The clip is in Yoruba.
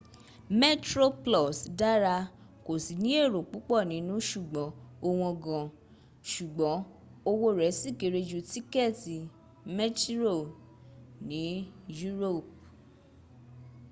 metroplus dára kò sí ní èrò púps nínu ṣùgbọ́n ó wọ́n gan ṣùgbọ́n owó rl sì kéré ju tíkẹ́tì mktírò ní europe